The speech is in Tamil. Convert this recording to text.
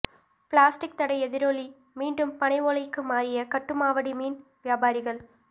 பிளாஸ்டிக் தடை எதிரொலி மீண்டும் பனைஓலைக்கு மாறிய கட்டுமாவடி மீன் வியாபாரிகள்